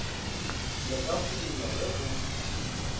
le ka phumulwa ge go